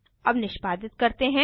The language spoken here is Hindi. अब निष्पादित करते हैं